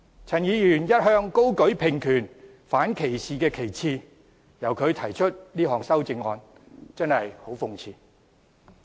陳議員一向高舉平權、反歧視的旗幟，由他提出這項修正案真的很諷刺。